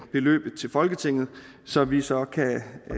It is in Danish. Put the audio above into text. beløbet til folketinget så vi så kan